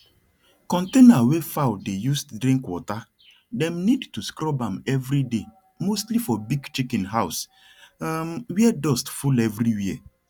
countainer wey fowl the use drink watter dem need to scrub am every day mostly for big chicken house um were dust full everywere